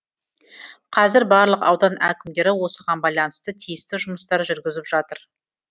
қазір барлық аудан әкімдері осыған байланысты тиісті жұмыстар жүргізіп жатыр